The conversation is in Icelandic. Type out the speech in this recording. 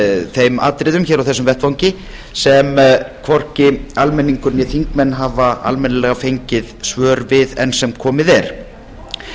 þeim atriðum hér á þessum vettvangi sem hvorki almenningur né þingmenn hafa almennilega fengið svör við enn sem komið er til upprifjunar